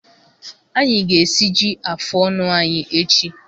Anyị ga-esiji afụ ọnụ anyị echi.